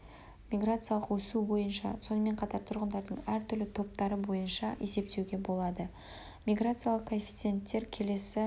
миграциялық өсу бойынша сонымен қатар тұрғындардың әр түрлі топтары бойынша есептеуге болады миграциялық коэффиценттері келесі